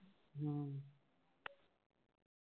ਹਮ